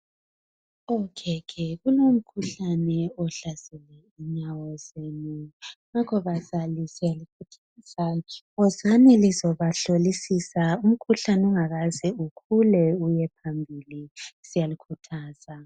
kulomkhuhlane ohlasela inyawo zenu ngakho basalwisela ukuthi lize, wozani lizo hlolisisa umkhuhlane ungazange ukhulu uyephambili siyalikhuthaza